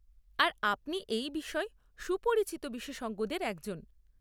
আর, আপনি এই বিষয়ে সুপরিচিত বিশেষজ্ঞদের একজন।